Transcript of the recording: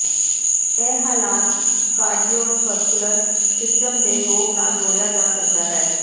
ਇਹ ਹਾਲਾਤ cardiovascular system ਦੇ ਰੋਗ ਨਾਲ ਜੋੜਿਆ ਜਾ ਸਕਦਾ ਹੈ